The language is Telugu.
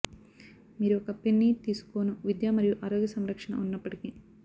మీరు ఒక పెన్నీ తీసుకోను విద్య మరియు ఆరోగ్య సంరక్షణ ఉన్నప్పటికీ